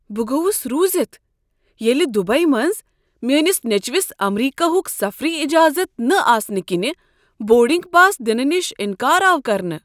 بہٕ گوس روٗزتھ ییٚلہ دُبیی منٛز میٲنس نیٚچوس امریکہ ہک سفری اجازت نہ آسنہٕ کِنۍ بورڈنگ پاس دنہٕ نش انکار آو کرنہٕ۔